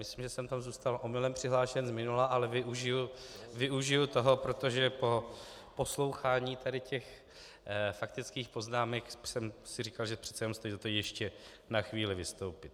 Myslím, že jsem tam zůstal omylem přihlášen z minula, ale využiji toho, protože po poslouchání tady těch faktických poznámek jsem si říkal, že přece jenom stojí za to ještě na chvíli vystoupit.